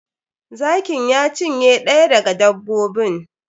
Zakin ya cinye ɗaya daga dbbobin.